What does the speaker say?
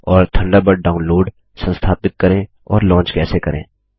Thunderbird download संस्थापित करें और लॉन्च कैसे करें